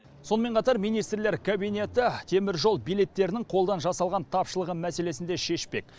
сонымен қатар министрлер кабинеті теміржол билеттерінің қолдан жасалған тапшылығы мәселесін де шешпек